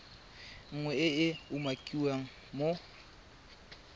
nngwe e e umakiwang mo